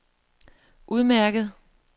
udmærket